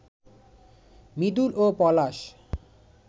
মৃদুল ও পলাশ